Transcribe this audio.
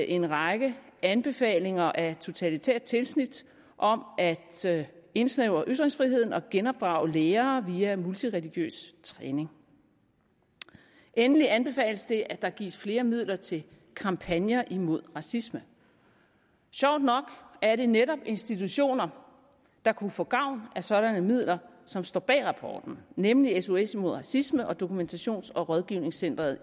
en række anbefalinger af totalitært tilsnit om at indsnævre ytringsfriheden og genopdrage lærere via multireligiøs træning endelig anbefales det at der gives flere midler til kampagner imod racisme sjovt nok er det netop institutioner der kunne få gavn af sådanne midler som står bag rapporten nemlig sos mod racisme og dokumentations og rådgivningscenteret